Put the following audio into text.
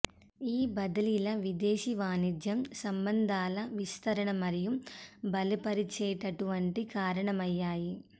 ఈ బదిలీల విదేశీ వాణిజ్యం సంబంధాల విస్తరణ మరియు బలపరిచేటటువంటి కారణమయ్యాయి